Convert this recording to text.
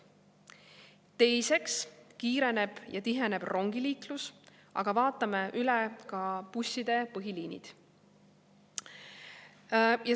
Teiseks kiireneb ja tiheneb rongiliiklus, aga vaatame üle ka busside põhiliinid.